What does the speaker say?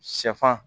Sɛfan